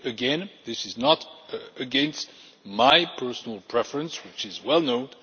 But again, this is not against my personal preference, which is well known.